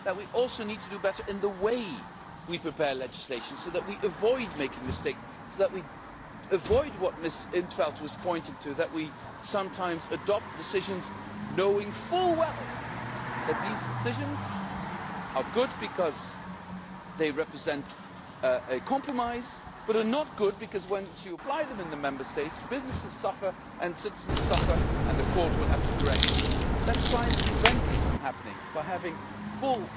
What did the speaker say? The message is that we need to do better in the way we prepare legislation so as to avoid making mistakes, and to avoid what Ms in 't Veld was pointing to that we sometimes adopt decisions knowing full well that they are good because they represent a compromise, but are not good because once you apply them in the Member States businesses suffer and citizens suffer and the Court will have to correct them. Let us try and prevent this from happening by having full